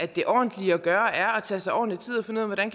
det ordentlige at gøre er tage sig ordentlig tid og finde ud af hvordan